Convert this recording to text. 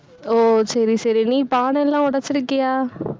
ஓ, சரி, சரி, நீ பானையெல்லாம் உடைச்சிருக்கியா